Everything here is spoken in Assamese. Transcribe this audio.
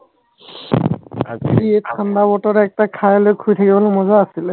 আজি এই ঠান্ডা বতৰত এক peg খাই লৈ শুই থাকিবলে মজা আছিলে